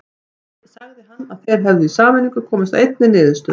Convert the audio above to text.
Sagði hann að þeir hefðu í sameiningu komist að einni niðurstöðu.